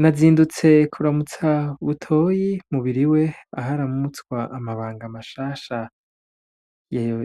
Nazindutse kuramutsa Butoyi mu biro iwe, aho aramutswa amabanga mashasha